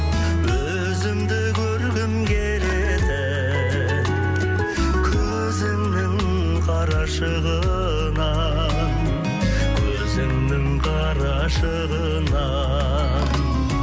өзімді көргім келетін көзіңнің қарашығынан көзіңнің қарашығынан